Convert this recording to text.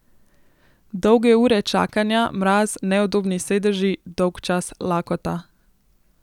Dolge ure čakanja, mraz, neudobni sedeži, dolgčas, lakota ...